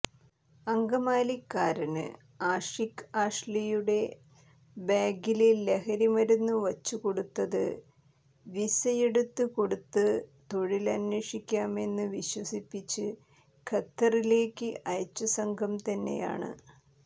അങ്കമാലിക്കാരന് ആഷിഖ് ആഷ്ലിയുടെ ബാഗില് ലഹരിമരുന്ന് വച്ചുകൊടുത്തത് വീസയെടുത്ത് കൊടുത്ത് തൊഴില് അന്വേഷിക്കാമെന്ന് വിശ്വസിപ്പിച്ച് ഖത്തറിലേക്ക് അയച്ച സംഘം തന്നെയാണ്